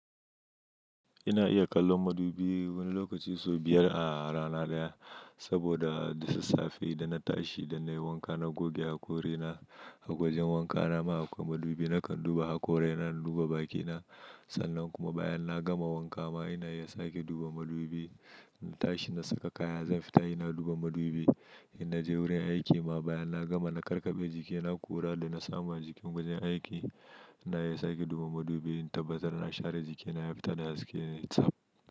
Ina iya kallon madubi, wani lokaci sau biyar a rana ɗaya saboda da sassafe idan na tashi da na yi wanka na goge haƙori na a wajen wanka na ma akwai madubi nakan duba hakorai na duba bakina sannan kuma bayan na gama wanka ma ina iya sake duba madubi na tashi na saka kaya zan fita ina duba madubi ina je wurin aiki ma bayan na gama na karkabe jikina kura da na samu jikin wajen aiki ina iya sake duba madubi in tabbatar na share jikina ya fita da haske yayi tsaf.